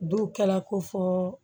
Don kɛla ko fɔ